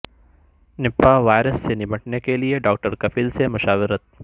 Nipah virus سے نمٹنے کیلئے ڈاکٹر کفیل سے مشاورت